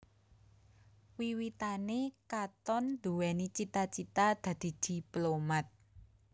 Wiwitané Katon nduwèni cita cita dadi diplomat